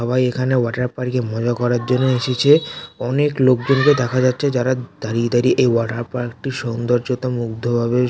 সবাই এখানে water park -এ মজা করার জন্য এসেছে অনেক লোক জন কে দেখা যাচ্ছে যারা দাঁড়িয়ে দাঁড়িয়ে এই ওয়াটার পার্ক -টির সৌন্দর্যতা মুগ্ধ ভাবে--